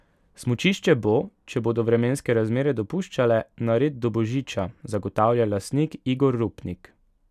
Smučišče bo, če bodo vremenske razmere dopuščale, nared do božiča, zagotavlja lastnik Igor Rupnik.